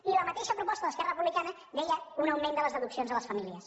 i la mateixa proposta d’esquerra republicana deia un augment de les deduccions a les famílies